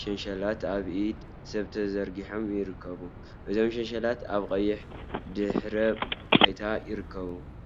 ሸንሸላት ኣብ ኣኢድ ሰብ ተዘርጊሖም ይርከቡ። እዞም ሸንሸላት ኣብ ቀይሕ ድሕረ ባይታ ይርከቡ።